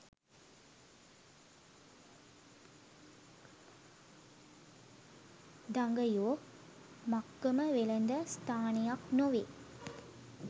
දඟයෝ මක්කම වෙළඳ ස්ථානයක් නොවේ